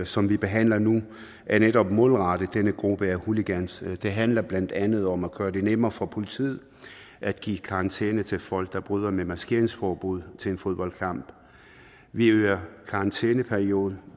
som vi behandler nu er netop målrettet denne gruppe af hooligans og det handler blandt andet om at gøre det nemmere for politiet at give karantæne til folk der bryder maskeringsforbuddet til en fodboldkamp vi øger karantæneperioden